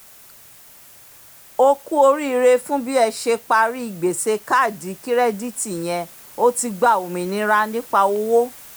"o kú oríire fún bí ẹ ṣe parí gbèsè káàdì kirẹditi yẹn o ti gba òmìnira nípa owó”